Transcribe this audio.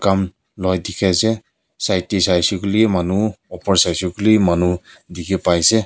kam loi dikhi ase side teh saishey kuile manu upor saishey kuile wi manu dikhipai ase.